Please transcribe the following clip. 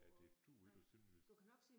Ja det duer ikke på sønderjysk